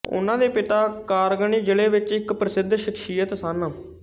ਉਨ੍ਹਾਂ ਦੇ ਪਿਤਾ ਕਾਰਗਨੀ ਜ਼ਿਲੇ ਵਿਚ ਇਕ ਪ੍ਰਸਿੱਧ ਸ਼ਖਸੀਅਤ ਸਨ